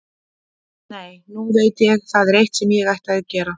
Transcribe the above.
Nei, nú veit ég, það er eitt sem ég ætti að gera.